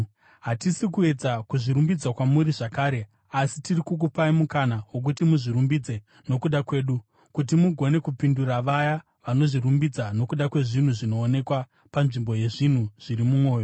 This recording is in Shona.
Hatisi kuedza kuzvirumbidza kwamuri zvakare, asi tiri kukupai mukana wokuti muzvirumbidze nokuda kwedu, kuti mugone kupindura vaya vanozvirumbidza nokuda kwezvinhu zvinoonekwa panzvimbo yezvinhu zviri mumwoyo.